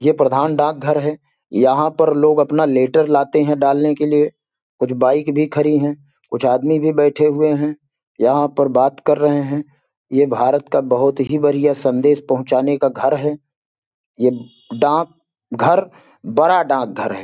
ये प्रधान डाकघर है यहाँ पर लोग अपना लेटर लाते हैं डालने के लिए कुछ बाइक भी खड़ी हैं कुछ आदमी भी बैठे हुए हैं यहां पर बात कर रहे हैं ये भारत का बहुत ही बढ़िया संदेश पहुँचाने का घर है ये डाक घर बड़ा डाकघर हैं।